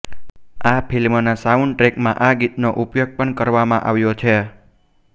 આ ફિલ્મના સાઉન્ડટ્રેકમાં આ ગીતનો ઉપયોગ પણ કરવામાં આવ્યો છે